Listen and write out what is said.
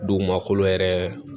Dugumakolo yɛrɛ